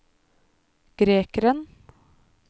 grekeren